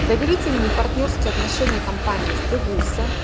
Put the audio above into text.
доверительные партнёрские отношения компании с бобуса